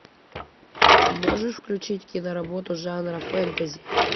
можешь включить киноработу жанра фэнтези